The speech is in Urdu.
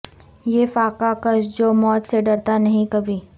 یہ فاقہ کش جو موت سے ڈرتا نہیں کبھی